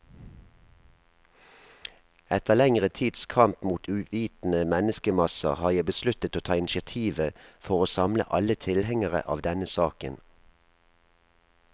Etter lengre tids kamp mot uvitende menneskemasser, har jeg besluttet å ta initiativet for å samle alle tilhengere av denne saken.